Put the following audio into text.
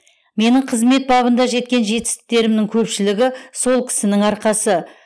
менің қызмет бабында жеткен жетістіктерімнің көпшілігі сол кісінің арқасы